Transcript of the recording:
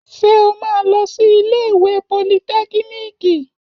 Ṣé o máa lọ sí iléèwé politẹ́kíníìkì?